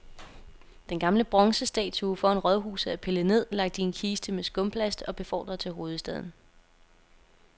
Den gamle bronzestatue foran rådhuset er pillet ned, lagt i en kiste med skumplast og befordret til hovedstaden.